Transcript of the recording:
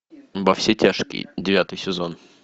во все тяжкие девятый сезон